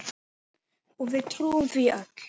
Og við trúðum því öll.